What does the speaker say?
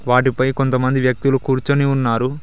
వాటిపై కొంతమంది వ్యక్తులు కూర్చుని ఉన్నారు.